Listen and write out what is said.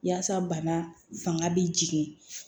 Yaasa bana fanga bi jigin